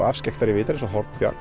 afskekktari vitar eins og á Hornbjargi